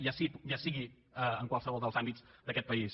ja sigui en qualsevol dels àmbits d’aquest país